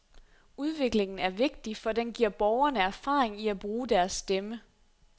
Udviklingen er vigtig, for den giver borgerne erfaring i at bruge deres stemme.